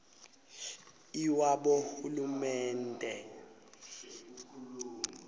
lwabohulumende